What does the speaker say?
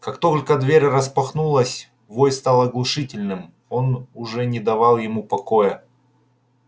как только дверь распахнулась вой стал оглушительным он уже не давал ему покоя